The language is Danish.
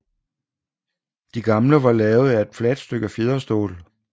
De gamle var lavet af et fladt stykke fjederstål